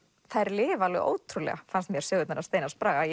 þær lifa alveg ótrúlega sögurnar hans Steinars Braga